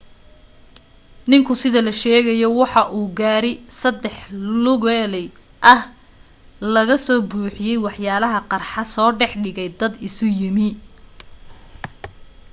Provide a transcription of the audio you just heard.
ninku sida la sheegayo waxa uu gaari saddex lugaley ah oo laga soo buuxiyay waxyaalaha qarxa soo dhex dhigay dad isu yimi